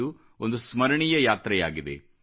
ಇದು ಒಂದು ಸ್ಮರಣೀಯ ಯಾತ್ರೆಯಾಗಿದೆ